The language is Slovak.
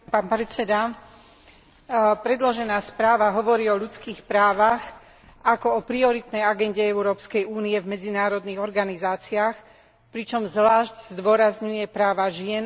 Predložená správa hovorí o ľudských právach ako o prioritnej agende Európskej únie v medzinárodných organizáciách, pričom zvlášť zdôrazňuje práva žien a detí a slobodu prejavu.